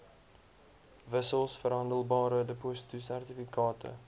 wissels verhandelbare depositosertifikate